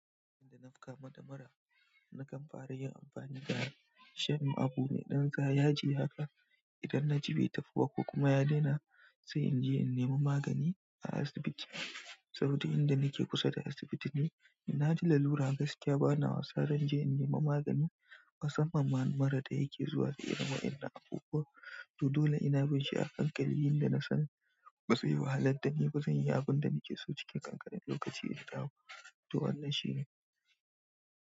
Inda na kamu da mura nakan farayin amfani da shirin abu me ɗan ga yaji haka. Idan na ji bai tafi ba ko kuma ya daina sai in je in nema magani a asibiti. Saboda inda nake kusa da asibiti ne, da na ji lalura gaskiya bana wasa, dan je in nema magani. Musamman mura da yake zuwa da irin wa'yannan abubuwan. To dole ina bin shi a hankali, yanda na san ba zai wahalad da ni ba, zan yi abin da nake so cikin ƙanƙanin lokaci guda to wannan shine.